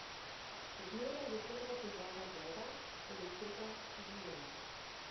Še zmeraj je prva težava voda, elektrika, higiena ...